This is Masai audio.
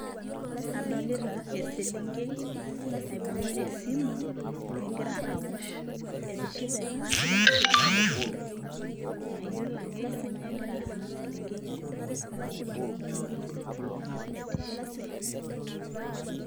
Adolita eselenkei naibungita esimu, egira aosh etishapa taa mayiolo ake kanyio egira ena selenkei aimaki kake keitodolu ajo etishipe.